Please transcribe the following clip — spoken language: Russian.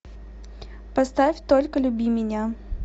поставь только люби меня